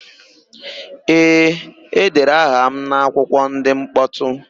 Ee, e dere aha m n'akwụkwọ ndị mkpọtụ